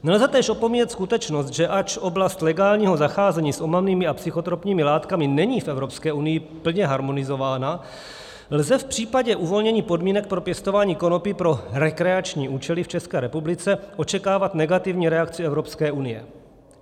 Nelze též opomíjet skutečnost, že ač oblast legálního zacházení s omamnými a psychotropními látkami není v Evropské unii plně harmonizována, lze v případě uvolnění podmínek pro pěstování konopí pro rekreační účely v České republice očekávat negativní reakci Evropské unie.